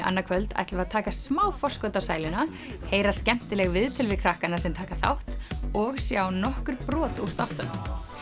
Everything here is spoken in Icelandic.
annað kvöld ætlum við að taka smá forskot á sæluna heyra skemmtileg viðtöl við krakkana sem taka þátt og sjá nokkur brot úr þáttunum